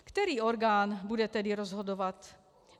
- Který orgán bude tedy rozhodovat?